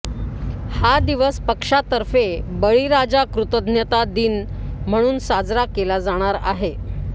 हा दिवस पक्षातर्फे बळीराजा कृतज्ञता दिन म्हणून साजरा केला जाणार आहे